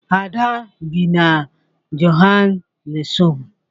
Ada bi na Johannesburg